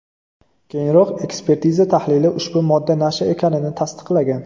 Keyinroq ekspertiza tahlili ushbu modda nasha ekanini tasdiqlagan.